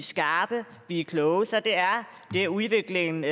skarpe vi er kloge så det er det udviklingen